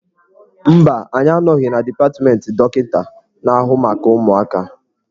Mba, anyị anọghị na dipatmentị dọkịka na-ahụ maka ụmụaka.